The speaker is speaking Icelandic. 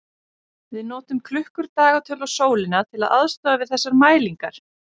Við notum klukkur, dagatöl og sólina til aðstoðar við þessar mælingar.